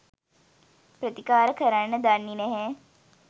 ප්‍රතිකාර කරන්න දන්නේ නැහැ